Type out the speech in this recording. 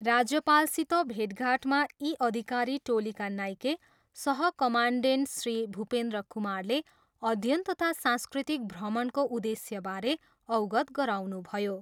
राज्यपालसित भेटघाटमा यी अधिकारी टोलीका नाइके सह कमान्डेन्ट श्री भुपेन्द्र कुमारले अध्ययन तथा सांस्कृतिक भ्रमणको उद्देश्यबारे अवगत गराउनुभयो।